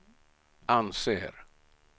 anser